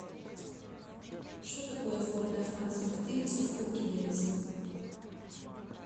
что такое сборная франции по теннису в кубке дэвиса